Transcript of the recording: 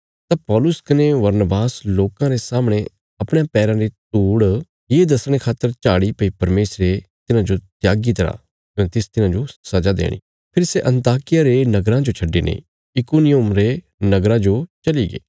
तां पौलुस कने बरनबास लोकां रे सामणे अपणयां पैराँ री धूड़ ये दसणे खातर झाड़ी भई परमेशरे तिन्हांजो त्यागी तरा कने तिस तिन्हांजो सजा देणी फेरी सै अन्ताकिया रे नगरा जो छड्डिने इकुनियुम रे नगरा जो चलीगे